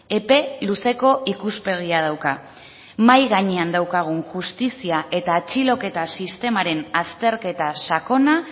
epe luzeko ikuspegia dauka mahai gainean daukagun justizia eta atxiloketa sistemaren azterketa sakona